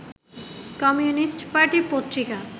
communist পার্টির পত্রিকা